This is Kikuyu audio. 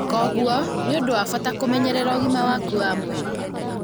Kwoguo, nĩ ũndũ wa bata kũmenyerera ũgima waku wa mwĩrĩ.